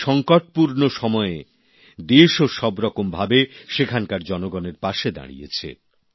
এই সংকটপূর্ণ সময়ে দেশও সবরকম ভাবে সেখানকার জনগণের পাশে দাঁড়িয়েছে